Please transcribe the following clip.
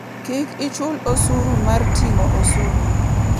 Kik ichul osuru mar ting'o osuru.